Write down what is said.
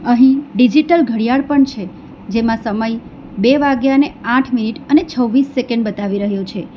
અહીં ડિજિટલ ઘડિયાળ પણ છે જેમાં સમય બે વાગ્યા ને આઠ મિનિટ અને છવ્વીસ સેકંડ બતાવી રહ્યો છે.